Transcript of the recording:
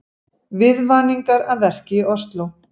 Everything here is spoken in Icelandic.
Viðvaningar að verki í Ósló